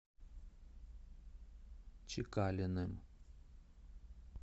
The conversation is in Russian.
чекалиным